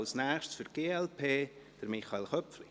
Als Nächstes, für die glp: Michael Köpfli.